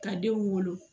Ka denw wolo